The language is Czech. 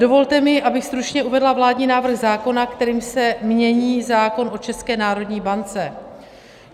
Dovolte mi, abych stručně uvedla vládní návrh zákona, kterým se mění zákon o České národní bance.